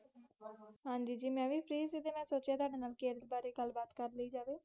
ਹਨਜੀ ਜੀ, ਮਈ ਵੀ ਫ਼ੀ ਸੀ ਮਈ ਸੋਚ ਠੁਡੇ ਨਾਲ ਕਿਰਲ ਬਾਰੇ ਗੱਲ ਬਾਤ ਕੀਤੀ ਜਾਵੇ